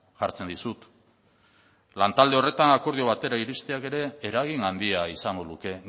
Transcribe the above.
jartzen dizut lantalde horretan akordio batera iristeak ere eragin handia izango luke